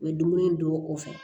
U ye dumuni don o kɔfɛ